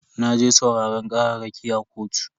Naje sauraran kararraki a kotu.